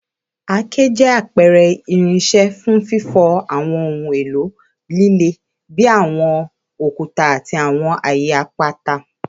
Àáké jẹ apẹrẹ irinṣẹ fun fifọ awọn ohun elo lile bi awọn okuta ati awọn aaye apata.